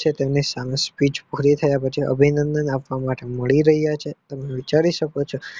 છે તેમની સામે Speech પુરી થયા પછી અભિનંદન આપવા માટે મળી રહ્યા છે તમે વિચારી શકો છો